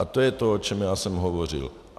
A to je to, o čem já jsem hovořil.